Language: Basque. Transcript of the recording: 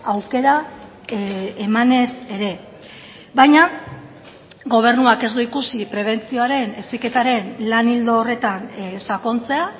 aukera emanez ere baina gobernuak ez du ikusi prebentzioaren heziketaren lan ildo horretan sakontzea